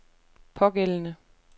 pågældende